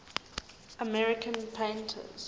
american painters